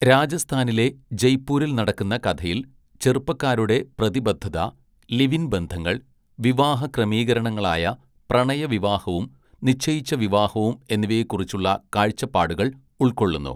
രാജസ്ഥാനിലെ ജയ്പൂരിൽ നടക്കുന്ന കഥയിൽ ചെറുപ്പക്കാരുടെ പ്രതിബദ്ധത, ലിവ് ഇൻ ബന്ധങ്ങൾ, വിവാഹ ക്രമീകരണങ്ങളായ പ്രണയവിവാഹവും നിശ്ചയിച്ച വിവാഹവും എന്നിവയെക്കുറിച്ചുള്ള കാഴ്ചപ്പാടുകൾ ഉൾക്കൊള്ളുന്നു.